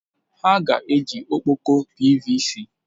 Ha ga-eji ọkpọkọ PVC?